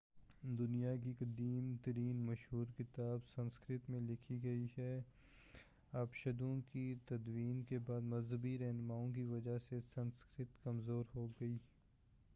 دنیا کی قدیم ترین مشہور کتاب سنسکرت میں لکھی گئی تھی اپنشدوں کی تدوین کے بعد مذہبی رہنماوں کی وجہ سے سنسکرت کمزور ہو گئی